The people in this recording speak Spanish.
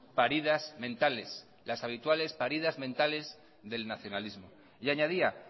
paridas mentales las habituales paridas mentales del nacionalismo y añadía